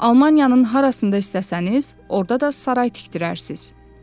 Almaniyanın harasında istəsəniz, orada da saray tikdirərsiz.”